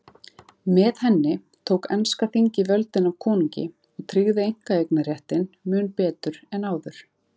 Með henni tók enska þingið völdin af konungi og tryggði einkaeignarréttinn mun betur en áður.